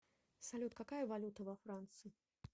салют какая валюта во франции